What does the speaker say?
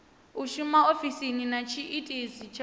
shuma ofisini na tshiitisi tsha